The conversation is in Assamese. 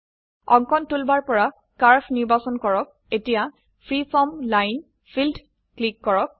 অঙ্কন টুলবাৰ পৰা কাৰ্ভ কাৰ্ভ নিৰ্বাচন কৰক এতিয়া ফ্ৰীফৰ্ম লাইন ফিল্ড ক্লিক কৰক